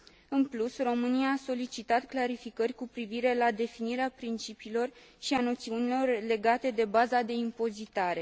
În plus, România a solicitat clarificări cu privire la definirea principiilor și a noțiunilor legate de baza de impozitare.